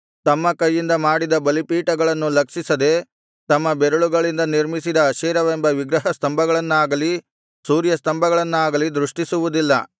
ತಮ್ಮ ಕೈಯಿಂದ ಮಾಡಿದ ಬಲಿಪೀಠಗಳನ್ನು ಲಕ್ಷಿಸದೆ ತಮ್ಮ ಬೆರಳುಗಳಿಂದ ನಿರ್ಮಿಸಿದ ಅಶೇರವೆಂಬ ವಿಗ್ರಹಸ್ತಂಭಗಳನ್ನಾಗಲಿ ಸೂರ್ಯಸ್ತಂಭಗಳನ್ನಾಗಲಿ ದೃಷ್ಟಿಸುವುದಿಲ್ಲ